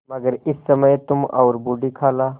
मगर इस समय तुम और बूढ़ी खाला